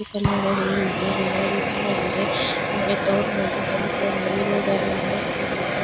Blue colour ಹೂವು ಇದೆ ಗುಲಾಬಿ ಕಲರ್ ಇದೆ ಆಮೇಲೆ ಹೆಣ್ಣ್ ಕಲರ್ ನವಿಲು ಗರಿ ಕೂಡಿದೆ.